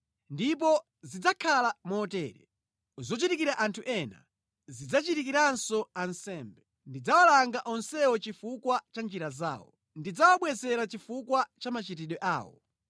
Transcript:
Ndipo zidzakhala motere: zochitikira anthu ena, zidzachitikiranso ansembe. Ndidzawalanga onsewo chifukwa cha njira zawo, ndidzawabwezera chifukwa cha machitidwe awo.